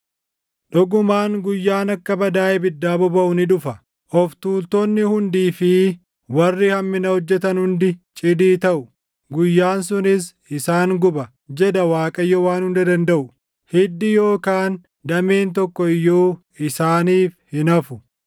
“Dhugumaan guyyaan akka badaa ibiddaa bobaʼu ni dhufa. Of tuultonni hundii fi warri hammina hojjetan hundi cidii taʼu; guyyaan sunis isaan guba” jedha Waaqayyo Waan Hunda Dandaʼu. “Hiddi yookaan dameen tokko iyyuu isaaniif hin hafu.